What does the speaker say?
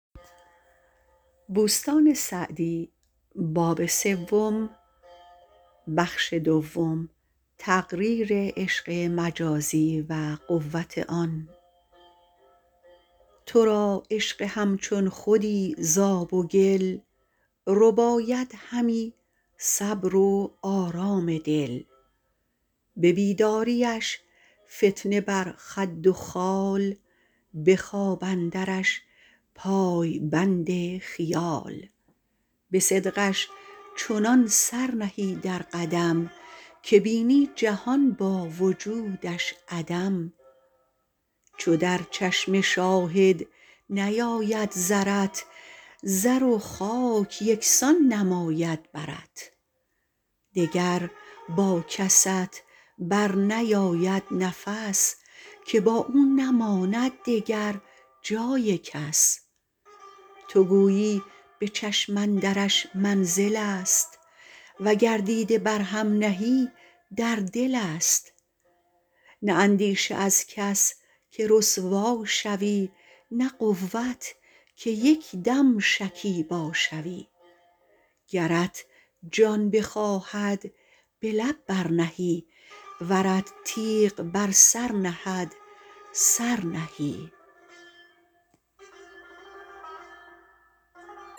تو را عشق همچون خودی ز آب و گل رباید همی صبر و آرام دل به بیداریش فتنه بر خد و خال به خواب اندرش پای بند خیال به صدقش چنان سر نهی در قدم که بینی جهان با وجودش عدم چو در چشم شاهد نیاید زرت زر و خاک یکسان نماید برت دگر با کست بر نیاید نفس که با او نماند دگر جای کس تو گویی به چشم اندرش منزل است وگر دیده بر هم نهی در دل است نه اندیشه از کس که رسوا شوی نه قوت که یک دم شکیبا شوی گرت جان بخواهد به لب بر نهی ورت تیغ بر سر نهد سر نهی